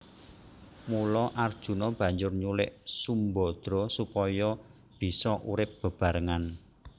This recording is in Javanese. Mula Arjuna banjur nyulik Sumbadra supaya bisa urip bebarengan